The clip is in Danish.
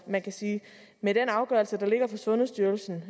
man kan sige at med den afgørelse der ligger fra sundhedsstyrelsen